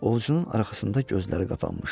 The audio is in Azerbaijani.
Ovcunun arxasında gözləri qapanmışdı.